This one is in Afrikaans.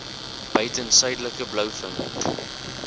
buiten suidelike blouvin